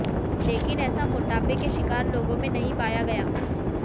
लेकिन ऐसा मोटापे के शिकार लोगों में नहीं पाया गया